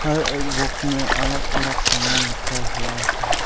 हर एक बॉक्स में अलग अलग समान रखा हुआ है।